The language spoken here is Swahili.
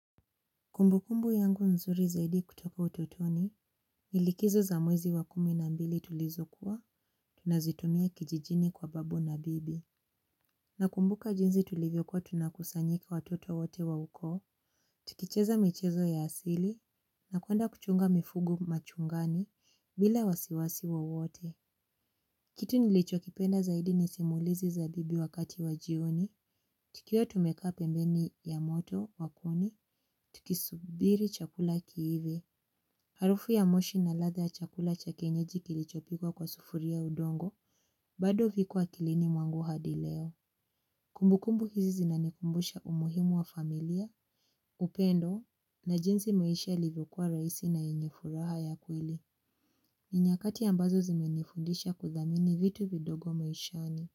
Kumbu kumbu yangu nzuri zaidi kutoka utotoni, nilikizo za mwezi wa kumi na mbili tulizokuwa, tunazitumia kijijini kwa babu na bibi. Na kumbuka jinzi tulivyokuwa tunakusanyika watoto wote wa uko, tukicheza michezo ya asili, na kuenda kuchunga mifugo machungani, bila wasiwasi wo wote. Kitu nilicho kipenda zaidi nisimulizi za bibi wakati wajioni, tukio tumeka pembeni ya moto wa kuni, tukisubiri chakula kiive. Harufu ya moshi na latha ya chakula cha kienyeji kilichopikwa kwa sufuri ya udongo, bado viko akilini mwangu hadi leo. Kumbukumbu hizi zinanikumbusha umuhimu wa familia, upendo, na jinzi maisha yali vokuwa raisi na enye furaha ya kweli. Ninyakati ambazo zimenifundisha kudamini vitu vidogo maishani.